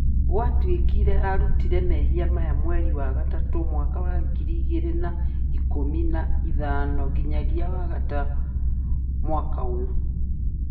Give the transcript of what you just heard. Gwatũĩkire arutire mehia aya mweri wa Gatatũ mwaka wa ngiri igĩri na ikũmi na ithano nginyagia Wagatũ mwaka ũũyũ